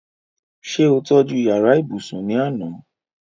ṣé ó tọ́ju yàrá ibùsùn ní àná?